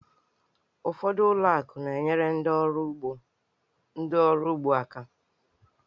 Ụfọdụ ụlọ akụ na-enyere ndị oru ugbo aka.